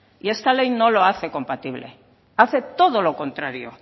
y esta ley no lo hace compatible hace todo lo contrario